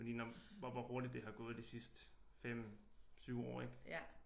Fordi når hvor hvor hurtigt det har gået det sidste 5 7 år ik